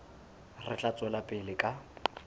re tla tswela pele ka